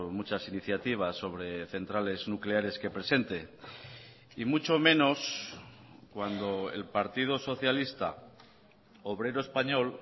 muchas iniciativas sobre centrales nucleares que presente y mucho menos cuando el partido socialista obrero español